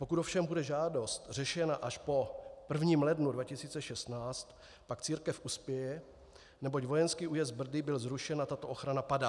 Pokud ovšem bude žádost řešena až po 1. lednu 2016, pak církev uspěje, neboť vojenský újezd Brdy byl zrušen a tato ochrana padá.